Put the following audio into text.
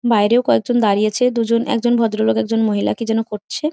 বাইরেও কয়েকজন দাঁড়িয়েছে। দুজন একজন ভদ্র লোক একজন মহিলা কি জেনো করছে।